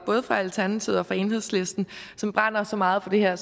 både fra alternativet og enhedslisten brænder så meget for det her